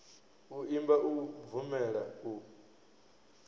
u imba u bvumela u